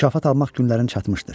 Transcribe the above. Mükafat almaq günlərin çatmışdır.